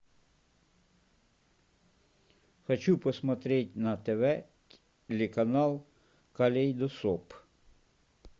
хочу посмотреть на тв телеканал калейдоскоп